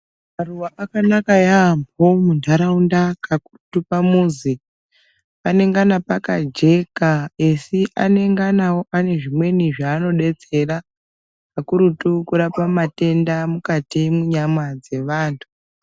Maruwa akanaka yaambo muntaraunda pakurutu pamuzi. Panengana pakajeka asi anengana ane zvimweni zvaanodetsera pakurutu kurapa matenda ari mukati mwenyama dzevantu.